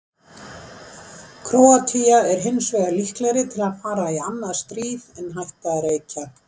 Króatía er hinsvegar líklegri til að fara í annað stríð en hætta að reykja.